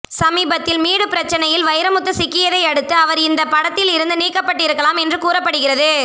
சமீபத்தில் மீடு பிரச்சனையில் வைரமுத்து சிக்கியதை அடுத்து அவர் இந்த படத்தில் இருந்து நீக்கப்பட்டு இருக்கலாம் என்று கூறப்படுகிறது